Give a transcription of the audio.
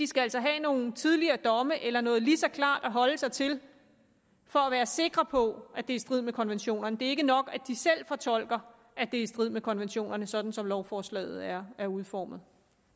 skal have nogle tidligere domme eller noget lige så klart at holde sig til for at være sikre på at det er i strid med konventionerne det er ikke nok at de selv fortolker at det er i strid med konventionerne sådan som lovforslaget er er udformet